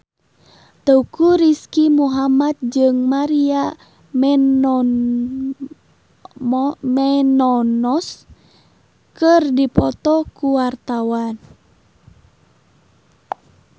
Teuku Rizky Muhammad jeung Maria Menounos keur dipoto ku wartawan